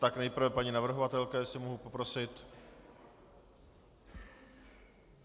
Tak nejprve paní navrhovatelka, jestli mohu poprosit.